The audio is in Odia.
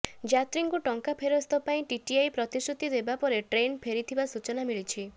ଯାତ୍ରୀଙ୍କୁ ଟଙ୍କା ଫେରସ୍ତ ପାଇଁ ଟିଟିଆଇ ପ୍ରତିଶ୍ରୁତି ଦେବା ପରେ ଟ୍ରେନ୍ ଫେରିଥିବା ସୂଚନା ମିଳିଛି